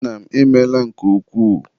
Nna m, ịmeela nke ukwuu